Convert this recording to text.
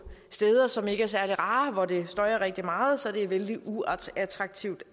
steder som ikke er særlig rare hvor det støjer rigtig meget så det er vældig uattraktivt